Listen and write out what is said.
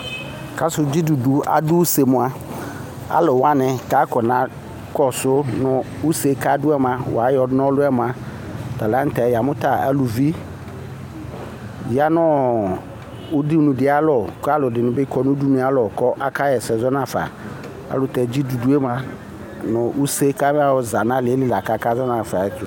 Kasu dzidudu aduse mua aluwani kakɔsu mu use aduɛmua wa yɔ na ɔlu mua yamu ta eluvi ya nu udunu di ayalɔ ku aluɛdini bi kɔ nu udunu ayalɔ kazɔnafa ayɛlutɛ dzidudu mua nu use amayɔ za nu alili akazɔnafa